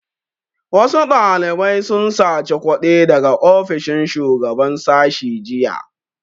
Wasu ɗalibai sun saci kuɗi daga ofishin shugaban sashi jiya